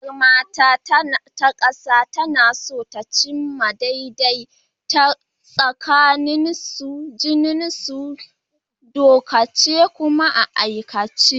Ƙungiyar mata ta ƙasa tana so ta cimma daidaito tsakanin jinsuna a dokance kuma a aikace.